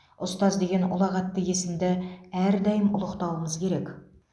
ұстаз деген ұлағатты есімді әрдайым ұлықтауымыз керек